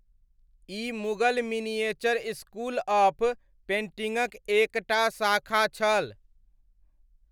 E Mughal miniature school of पेण्टिङ्गक एक टा शाखा छल।